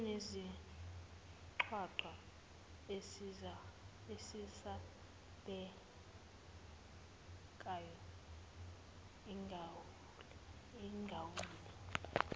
usunesigcwagcwa esesabekayo ugawule